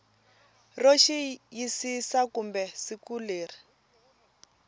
ro xiyisisa kumbe siku leri